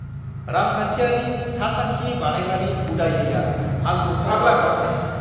रांखान्थियारि सानथांखि बानायग्रानि उदायैआ आंखौ फाग्ला खालामगासिनो!